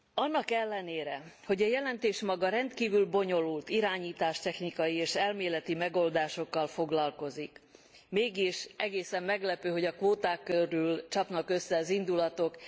Annak ellenére, hogy a jelentés maga rendkívül bonyolult irányítástechnikai és elméleti megoldásokkal foglalkozik, mégis egészen meglepő, hogy a kvóták körül csapnak össze az indulatok.